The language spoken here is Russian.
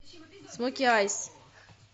смоки айс